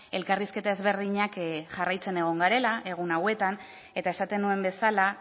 elkarrizketa ezberdinak jarraitzen egon garela egun hauetan eta esaten nuen bezala